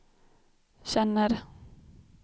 känner